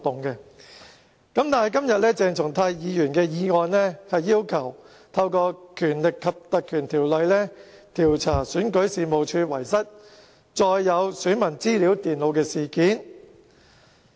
但是，今天鄭松泰議員的議案，是要求運用《立法會條例》，調查選舉事務處遺失載有選民資料的手提電腦的事件。